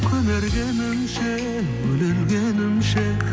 көнергенімше өле өлгенімше